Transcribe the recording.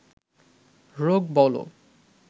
রোগ বলো